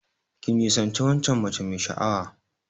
Ka nisanci waccan mace mai sha'awa.